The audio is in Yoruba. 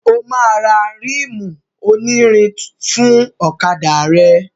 O máa ra ríìmù onírin fún ọ̀kadà rẹ̀.